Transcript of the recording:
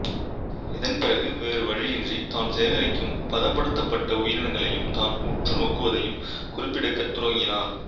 இதன் பிறகு வேறுவழியின்றி தான் சேகரிக்கும் பதப்படுத்தப்பட்ட உயிரினங்களையும் தான் உற்றுநோக்குவதையும் குறிப்பெடுக்கத் துவங்கினார்